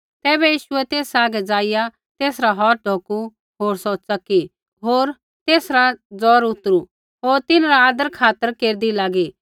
तैबै यीशुऐ तेसा हागै जाईया तेसरा हौथ ढौकु होर सौ च़की होर तेसरा जौर उतरु होर तिन्हरा आदरखातर केरदी लागी